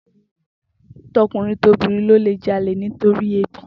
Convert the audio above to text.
To̩kùnrin tobìnrin ló lè jalè nítorí ebi